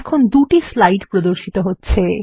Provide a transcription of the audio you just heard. এখন দুটি স্লাইড প্রদর্শিত হচ্ছে